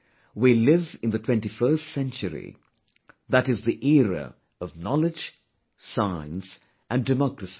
We live in the 21st century, that is the era of knowledge, science and democracy